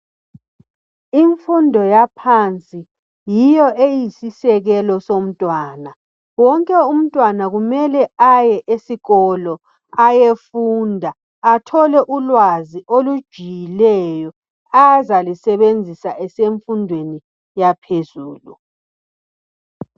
Imfundo yaphansi yiyo eyisisekelo somntwana. Wonke umntwana kumele aye esikolo ayefunda athole ulwazi olujiyileyo azalisebenzisa esemfundweni yaphezulu